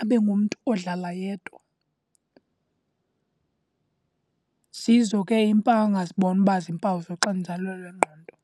abe ngumntu odlala yedwa. Zizo ke iimpawu angazibona uba ziimpawu zoxinzelelo lwengqondo.